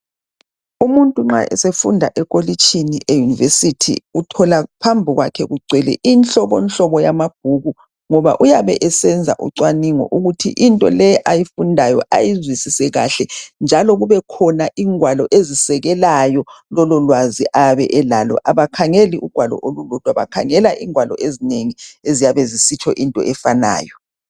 Umuntu nxa efunda ekolitshini eUniversity uthola phambi kwakhe kugcwele inhlobonhlobo yamabhuku ngoba uyabe esenza ucwaningo ukuthi into le ayifundayo ayizwisise kahlenjalo kubekhona ingwalo ezisekelayo lolo lwazi ayabe elalo. Abakhangeli ugwalo olulodwa bakhangela ingwalo ezinengi esiziyabe zisitsho okufunayo.